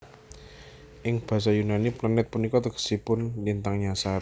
Ing basa Yunani planet punika tegesipun lintang nyasar